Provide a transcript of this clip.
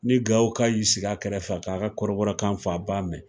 Ni Gawo ka y'i sigi a kɛrɛfɛ ka ka kɔrɔbɔrɔ kan fɔ, a b'a mɛn.